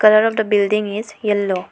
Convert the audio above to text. Colour of the building is yellow.